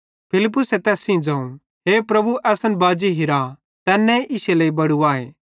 फिलिप्पुसे तैस सेइं ज़ोवं हे प्रभु असन बाजी हिरा तैन्ने इश्शे लेइ बड़ू आए